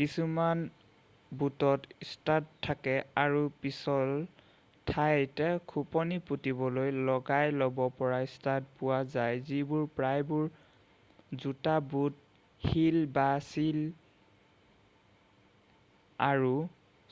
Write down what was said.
কিছুমান বুটত ষ্টাড থাকে আৰু পিছল ঠাইত খোপনি পুতিবলৈ লগাই ল'ব পৰা ষ্টাড পোৱা যায় যিবোৰ প্ৰায়বোৰ জোতা বুট হীল বা হীল আৰু